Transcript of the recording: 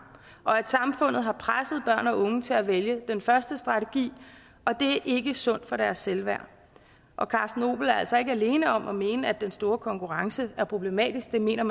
og at samfundet har presset børn og unge til at vælge den første strategi og det er ikke sundt for deres selvværd og carsten opel er altså ikke alene om at mene at den store konkurrence er problematisk det mener